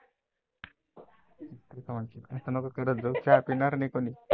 असं नको करत जाऊ चहा पिणार नाही कोण.